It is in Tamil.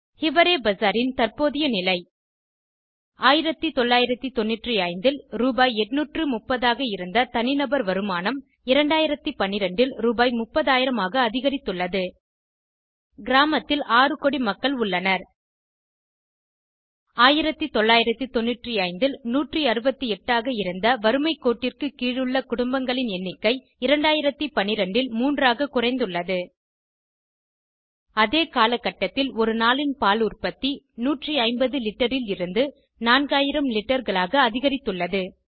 ஹிவரே பசாரின் தற்போதைய நிலை 1995 ல் ரூ 830 ஆக இருந்த தனிநபர் வருமானம் 2012 ல் ரூ 30000 ஆக அதிகரித்துள்ளது கிராமத்தில் 6 கோடி மக்கள் உள்ளனர் 1995 ல் 168 ஆக இருந்த வறுமை கோட்டிற்கு கீழ் உள்ள குடும்பங்களின் எண்ணிக்கை 2012 ல் 3 ஆக குறைந்துள்ளது அதே காலகட்டத்தில் ஒரு நாளின் பால் உற்பத்தி 150 லிட்டரில் இருந்து 4000 லிட்டர்களாக அதிகரித்துள்ளது